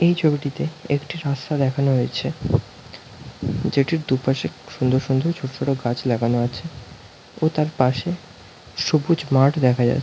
এই ছবিটিতে একটি রাস্তা দেখানো হয়েছে যেটির দুপাশে সুন্দর সুন্দর ছোট ছোট গাছ লাগানো আছে ও তার পাশে সবুজ মাঠ দেখা যা--